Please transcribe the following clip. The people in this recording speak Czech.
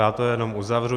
Já to jenom uzavřu.